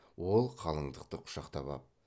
ол қалындықты құшақтап ап